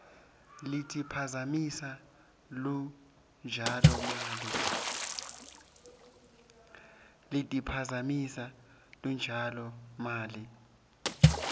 letiphazamisa lutjalo mali